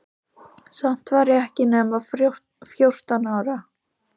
Samt var ég ekki nema fjórtán ára.